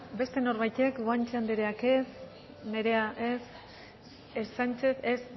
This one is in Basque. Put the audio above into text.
beste norbaitek guanche andreak ez nerea ez sánchez ez